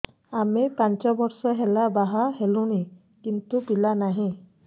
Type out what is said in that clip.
ଆମେ ପାଞ୍ଚ ବର୍ଷ ହେଲା ବାହା ହେଲୁଣି କିନ୍ତୁ ପିଲା ନାହିଁ